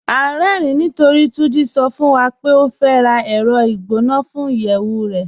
À n rẹ̀rìn nítorí Túnjí sọ̀ fún wa pé ó fẹ́ rá ẹrọ̀ igbọnà fún iyẹwu rẹ̀.